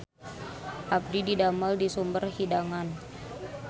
Abdi didamel di Sumber Hidangan